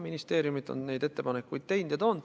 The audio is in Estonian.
Ministeeriumid on selleks ettepanekuid teinud.